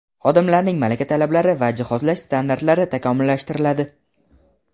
xodimlarning malaka talablari va jihozlash standartlari takomillashtiriladi.